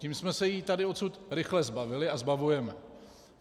Tím jsme se jí tady odtud rychle zbavili a zbavujeme.